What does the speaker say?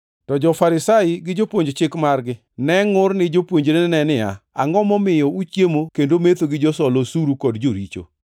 To jo-Farisai gi jopuonj chik margi ne ngʼur ni jopuonjrene niya, “Angʼo momiyo uchiemo kendo metho gi josol osuru kod joricho?”